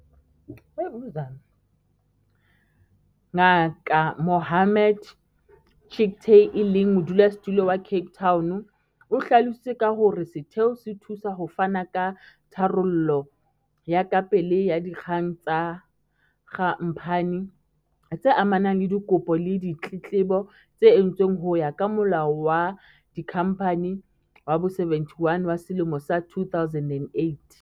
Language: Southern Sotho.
Ngaka Mohammed Chicktay, e leng Modulasetulo wa CT, o hlalositse ka hore setheo se thusa ho fana ka tharollo ya kapele ya dikgang tsa kha mphani, tse amanang le dikopo le ditletlebo tse entsweng ho ya ka Molao wa Dikhamphani wa bo-71 wa selemo sa 2008.